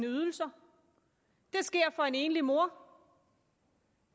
ydelser det sker for en enlig mor